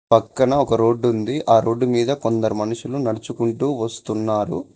పక్కన ఒక రోడ్ ఉంది ఆ రోడ్డు మీద కొందరు మనుషులు నడుచుకుంటూ వస్తున్నారు.